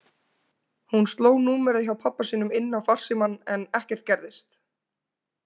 Hún sló númerið hjá pabba sínum inn á farsímann en ekkert gerðist.